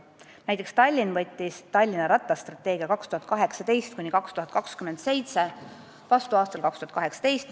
Näiteks võttis Tallinn oma rattastrateegia aastateks 2018–2027 vastu aastal 2018.